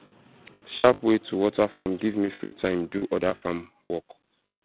sharp way to water farm give me free time do other farm work